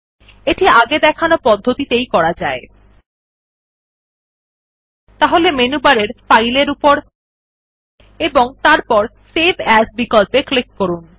এটি আগে দেখানো পদ্ধতিতেই করা যায় ও সুতরাং মেনুবারের ফাইল বিকল্পর উপর এবং তারপর সেভ এএস বিকল্পে ক্লিক করুন